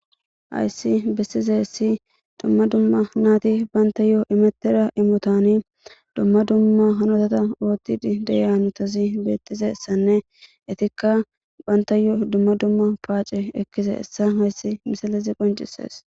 hayssi bessize essi dumma dumma naati banta yo7o imettera imotani dumma dumma hanotata ootid deyanotasi bettize ssanne itikka banta yoo dumma dumma paace ekkise essa hayssi misalezi qoncisees